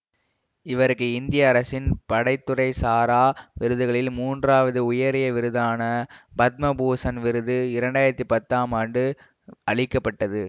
இவருக்கு இந்திய அரசின் படை துறை சாரா விருதுகளில் மூன்றாவது உயரிய விருதான பத்ம பூசண் விருது இரண்டு ஆயிரத்தி பத்தாம் ஆண்டு அளிக்க பட்டது